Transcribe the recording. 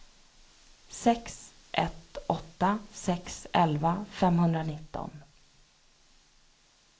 sex ett åtta sex elva femhundranitton